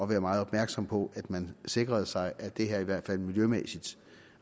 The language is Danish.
være meget opmærksomme på at man sikrede sig at det her i hvert fald miljømæssigt